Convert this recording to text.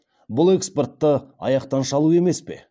бұл экспортты аяқтан шалу емес пе